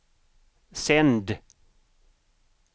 sänd